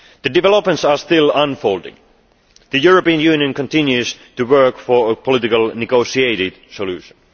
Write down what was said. Developments are still unfolding. The European Union continues to work for a politically negotiated solution.